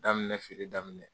Daminɛ feere daminɛ